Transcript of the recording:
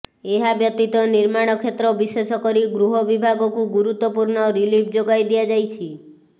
ଏହା ବ୍ୟତୀତ ନିର୍ମାଣ କ୍ଷେତ୍ର ବିଶେଷକରି ଗୃହ ବିଭାଗକୁ ଗୁରୁତ୍ୱପୂର୍ଣ୍ଣ ରିଲିଫ୍ ଯୋଗାଇ ଦିଆଯାଇଛି